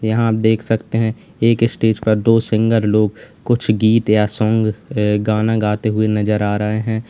यहां देख सकते हैं एक स्टेज पर दो सिंगर लोग कुछ गीत या सॉन्ग गाना गाते हुए नजर आ रहे हैं।